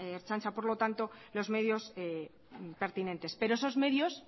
ertzaintza por lo tanto los medios pertinentes pero esos medios